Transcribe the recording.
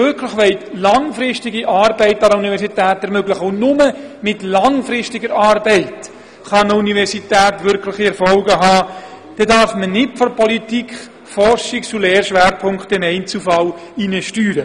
Wenn Sie wirklich langfristige Arbeit an der Universität ermöglichen wollen – und nur mit langfristiger Arbeit kann eine Universität wirkliche Erfolge haben –, dann darf man nicht vonseiten der Politik im Einzelfall in Forschungs- und Lehrschwerpunkte hineinsteuern.